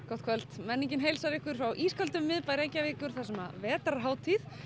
gott kvöld menningin heilsar ykkur frá ísköldum miðbæ Reykjavíkur þar sem vetrarhátíð